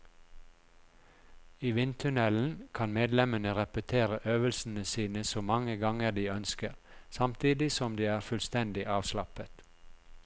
I vindtunnelen kan medlemmene repetere øvelsene sine så mange ganger de ønsker, samtidig som de er fullstendig avslappet.